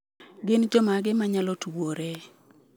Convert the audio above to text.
Gin jomage ma nyalo tuwore?